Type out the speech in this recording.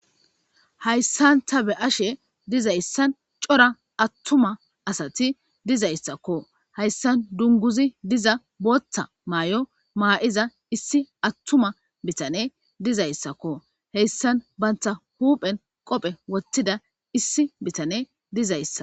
hayssanta be ashe dizayssan cora attuma asati dizayssakko hayssan dunguzi diza booththa maay7o maa7iza issi attuma bitane dizayssakko heyssan banta huuphen qophe wottida issi bitane dizayssa